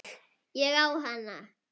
Ég á hana!